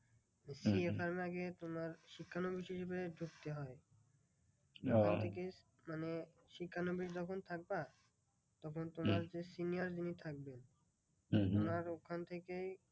CA firm এ আগে তোমার শিক্ষানবিশ হিসেবে ঢুকতে হয়। সেখান থেকে মানে শিক্ষানবিশ যখন থাকবা তখন তোমার senior যিনি থাকবেন তোমার ওখান থেকেই